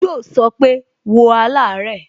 Yo so pé, "wo alare"